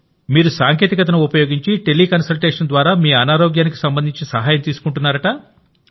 మీరు సాంకేతికతను ఉపయోగించి టెలికన్సల్టేషన్ ద్వారా మీ అనారోగ్యానికి సంబంధించి సహాయం తీసుకుంటున్నారు